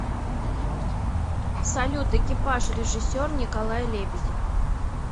салют экипаж режиссер николай лебедев